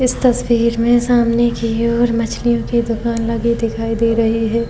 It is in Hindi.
इस तस्वीर में सामने की ओर मछलियों की दुकान लगी दिखाई दे रही है।